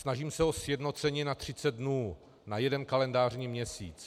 Snažím se o sjednocení na 30 dnů, na jeden kalendářní měsíc.